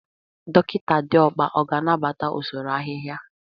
Dọkịta Diokpa ọ ga-anabata usoro ahịhịa?